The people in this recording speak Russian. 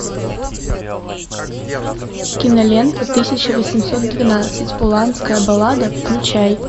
кинолента тысяча восемьсот двенадцать уланская баллада включай